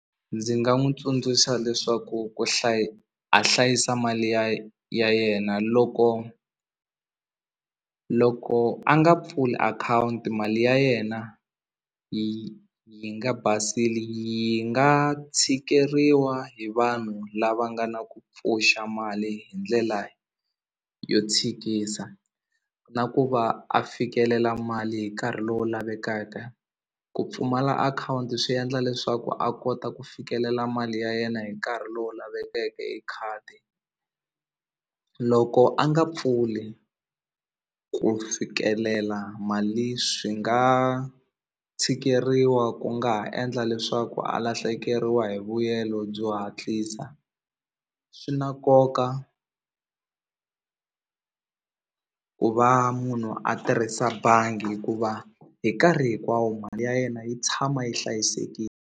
Ndzi nga n'wi tsundzuxa leswaku ku a hlayisa mali ya ya yena loko loko a nga pfuli akhawunti mali ya yena yi yi nga yi nga tshikeriwa hi vanhu lava nga na ku pfuxa mali hi ndlela yo tshikisa na ku va a fikelela mali hi nkarhi lowu lavekaka ku pfumala akhawunti swi endla leswaku a kota ku fikelela mali ya yena hi nkarhi lowu lavekeke hi khadi loko a nga pfuli ku fikelela mali swi nga tshikeriwa ku nga ha endla leswaku a lahlekeriwa hi byo hatlisa swi na nkoka ku va munhu a tirhisa bangi hikuva hi nkarhi hinkwawo mali ya yena yi tshama yi .